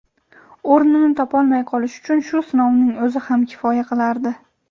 o‘rnini topolmay qolishi uchun shu sinovning o‘zi ham kifoya qilardi.